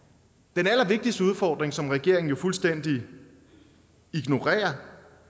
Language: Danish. den allervigtigste udfordring som regeringen jo fuldstændig ignorerer